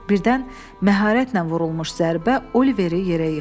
Birdən məharətlə vurulmuş zərbə Oliveri yerə yıxdı.